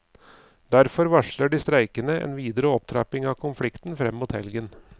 Derfor varsler de streikende en videre opptrapping av konflikten frem mot helgen.